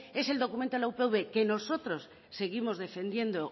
es el documento de la upv que nosotros seguimos defendiendo